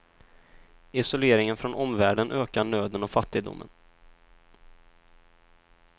Isoleringen från omvärlden ökar nöden och fattigdomen.